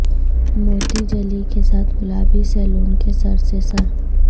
موتی جلی کے ساتھ گلابی سیلون کے سر سے سر